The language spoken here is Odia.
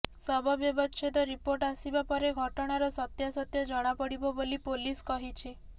ଶବ ବ୍ୟବଚ୍ଛେଦ ରିପୋର୍ଟ ଆସିବା ପରେ ଘଟଣାର ସତ୍ୟାସତ୍ୟ ଜଣାପଡିବା ବୋଲି ପୋଲିସ କହିଛି